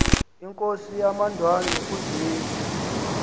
inkosi yamandwandwe uzwide